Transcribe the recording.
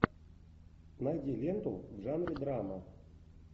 найди ленту в жанре драма